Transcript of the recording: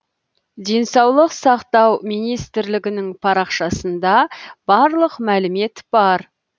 денсаулық сақтау министрлігінің парақшасында барлық мәлімет бар